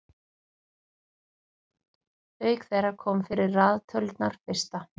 auk þeirra koma fyrir raðtölurnar fyrsta